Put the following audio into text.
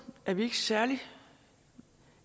er vi ikke særlig